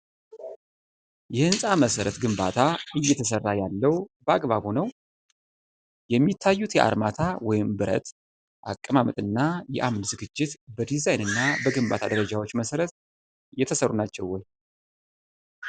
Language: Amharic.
የህንፃ መሠረት ግንባታ እየተሰራ ያለው በአግባቡ ነው? የሚታዩት የአርማታ (ብረት) አቀማመጥና የአምድ ዝግጅት በዲዛይንና በግንባታ ደረጃዎች መሰረት የተሰሩ ናቸው ወይ?